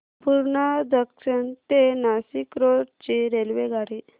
Purna junction ते Nashik road ची रेल्वेगाडी